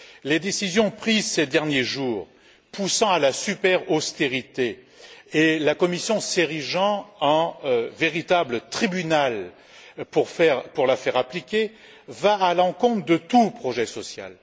Les décisions prises ces derniers jours poussant à la super austérité, et la Commission s'érigeant en véritable tribunal pour la faire appliquer, vont à l'encontre de tout projet social.